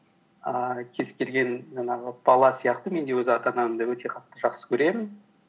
ііі кез келген жаңағы бала сияқты мен де өз ата анамды өте қатты жақсы көремін